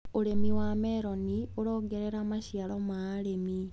ũrĩmi wa meroni ũrongerera maciaro ma arĩmi.